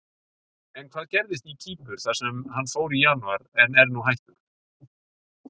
En hvað gerðist í Kýpur þar sem hann fór í janúar en er nú hættur?